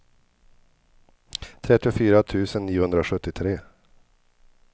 trettiofyra tusen niohundrasjuttiotre